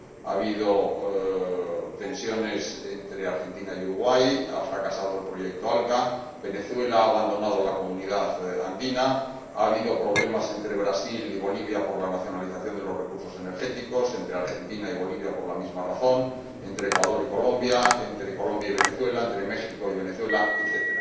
Ha habido tensiones entre Argentina y Uruguay, ha fracasado el proyecto ALCA, Venezuela ha abandonado la Comunidad Andina, ha habido problemas entre Brasil y Bolivia por la nacionalización de los recursos energéticos, entre Argentina y Bolivia por la misma razón, entre Ecuador y Colombia, entre Colombia y Venezuela, entre México y Venezuela, etc.